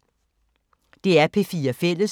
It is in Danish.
DR P4 Fælles